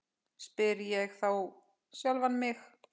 spyr ég þá sjálfan mig.